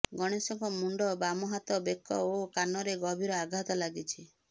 ଗଣେଶଙ୍କ ମୁଣ୍ଡ ବାମ ହାତ ବେକ ଓ କାନରେ ଗଭୀର ଆଘାତ ଲାଗିଛି